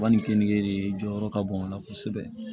U ka nin kenike de jɔyɔrɔ ka bon o la kosɛbɛ